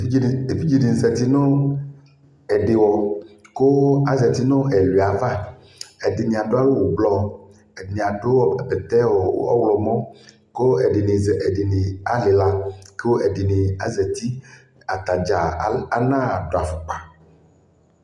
ɛvidzɛ ni zati nʋ ɛdiwɔ kʋ azati nʋ ɛwiɛ aɣa, ɛdini adʋ awʋ ɔblɔ, ɛdini adʋ bɛtɛ ɔwlɔmʋ kʋ ɛdini alila kʋ ɛdini azati, atagya anadʋ aƒʋkpa